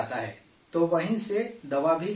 تو وہیں سے دوا بھی لے کر جاتا ہے وہ